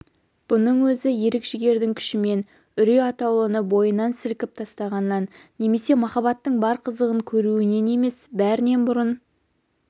бұның өзі ерік-жігердің күшімен үрей атаулыны бойынан сілкіп тастағанынан немесе махаббаттың бар қызығын көруінен емес бәрінен бұрын